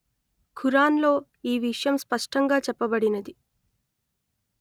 ఖురాన్ లో ఈ విషయం స్పష్టంగా చెప్పబడినది